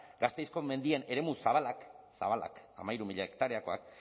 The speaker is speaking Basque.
gasteizko mendien eremu zabalak zabalak hamairu mila hektareakoak